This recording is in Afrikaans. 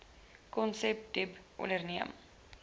konsep dbip onderneem